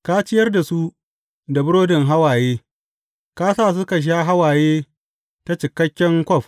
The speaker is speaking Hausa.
Ka ciyar da su da burodin hawaye; ka sa suka sha hawaye ta cikakken kwaf.